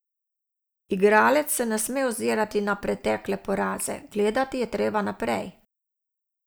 Igralec se ne sme ozirati na pretekle poraze, gledati je treba naprej.